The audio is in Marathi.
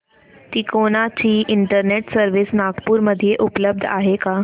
तिकोना ची इंटरनेट सर्व्हिस नागपूर मध्ये उपलब्ध आहे का